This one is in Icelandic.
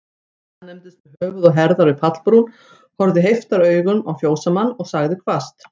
Staðnæmdist með höfuð og herðar við pallbrún, horfði heiftaraugum á fjósamann, og sagði hvasst